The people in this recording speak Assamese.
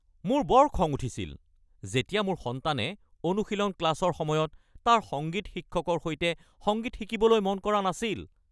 মোৰ বৰ খং উঠিছিল যেতিয়া মোৰ সন্তানে অনুশীলন ক্লাছৰ সময়ত তাৰ সংগীত শিক্ষকৰ সৈতে সংগীত শিকিবলৈ মন কৰা নাছিল।